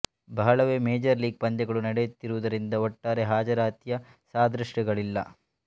ಬಹಳವೇ major league ಪಂದ್ಯಗಳು ನಡೆಯುತ್ತಿರುವುದರಿಂದ ಒಟ್ಟಾರೆ ಹಾಜರಾತಿಯ ಸಾದೃಶಗಳಿಲ್ಲ